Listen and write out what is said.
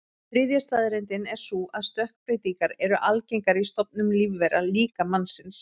Þriðja staðreyndin er sú að stökkbreytingar eru algengar í stofnum lífvera, líka mannsins.